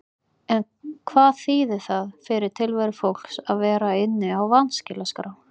En hvað þýðir það fyrir tilveru fólks að vera inni á vanskilaskrá?